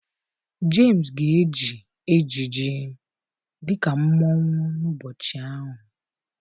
Jemis ga-eji ejiji dị ka mmọnwụ n'ụbọchị ahụ